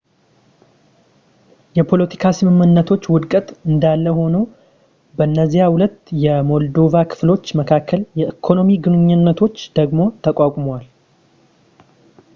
የፖለቲካ ስምምነቶች ውድቀት እንዳለ ሆኖ በነዚያ ሁለት የሞልዶቫ ክፍሎች መካከል የኢኮኖሚ ግንኙነቶች ዳግም ተቋቁመዋል